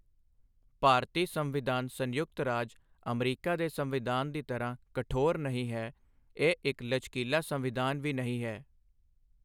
ਭਾਰਤੀ ਸੰਵਿਧਾਨ ਸੰਯੁਕਤ ਰਾਜ ਅਮਰੀਕਾ ਦੇ ਸੰਵਿਧਾਨ ਦੀ ਤਰ੍ਹਾਂ ਕਠੋਰ ਨਹੀਂ ਹੈ ਇਹ ਇੱਕ ਲਚਕੀਲਾ ਸੰਵਿਧਾਨ ਵੀ ਨਹੀਂ ਹੈ।